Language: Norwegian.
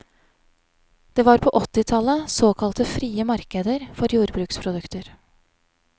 Det var på åttitallet såkalte frie markeder for jordbruksprodukter.